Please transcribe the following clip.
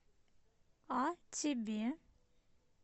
а тебе